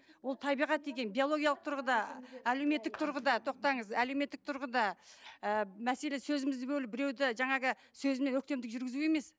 ол табиғат деген биологиялық тұрғыда әлеуметтік тұрғыда тоқтаңыз әлеуметтік тұрғыда ііі мәселе сөзімізді бөліп біреуді жаңағы сөзімен өктемдік жүргізу емес